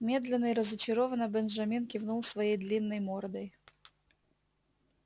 медленно и разочарованно бенджамин кивнул своей длинной мордой